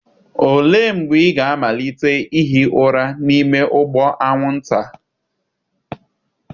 Olee mgbe ị ga-amalite ihi ụra n'ime ụgbụ anwụnta?